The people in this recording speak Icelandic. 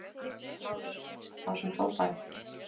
LÁRUS: Þá sem hrópaði!